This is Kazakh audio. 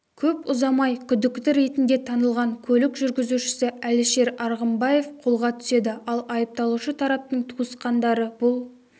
көп ұзамай күдікті ретінде танылған көлік жүргізушісі әлішер арғынбаев қолға түседі ал айыпталушы тараптың туысқандары бұл